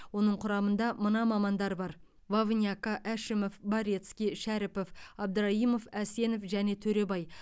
оның құрамында мына мамандар бар вовняко әшімов борецкий шәріпов абдраимов әсенов және төребай